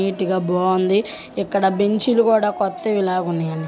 Neat గా బాగుంది ఇక్కడ బెంచి లు కూడా కొత్తవి లా ఉన్నాయండి.